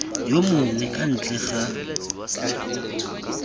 yo mongwe kwa ntle ga